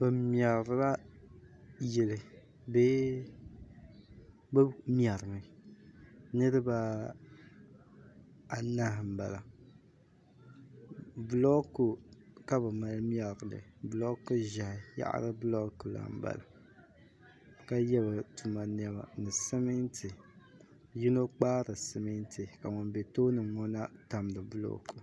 Bɛ mɛrila yili bee bɛ mɛrimi niriba anahi m-bala bulooku ka bɛ mali mɛri li bulooku ʒɛhi yaɣiri bulooku la m-bala ka ye bɛ tuma nɛma ni simiti yino kpaari simiti ka ŋun be tooni ŋɔ na tamdi bulooku